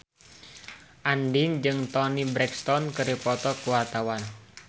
Andien jeung Toni Brexton keur dipoto ku wartawan